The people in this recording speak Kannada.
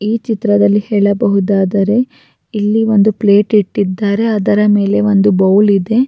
ಈ ಚಿತ್ರದಲ್ಲಿ ಹೇಳಬಹುದಾದರೆ ಇಲ್ಲಿ ಒಂದು ಪ್ಲೇಟ್ ಇಟ್ಟಿದ್ದಾರೆ ಅದರ ಮೇಲೆ ಒಂದು ಬೌಲ್ ಇದೆ-